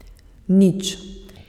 Nič.